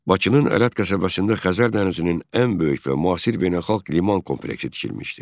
Bakının Ələt qəsəbəsində Xəzər dənizinin ən böyük və müasir beynəlxalq liman kompleksi tikilmişdi.